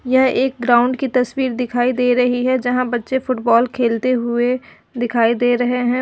यह एक ग्राउंड की तस्वीर दिखाई दे रही है जहां बच्चे फुटबॉल खेलते हुए दिखाई दे रहे हैं।